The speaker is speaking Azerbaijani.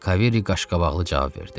Kaviri qaşqabaqlı cavab verdi.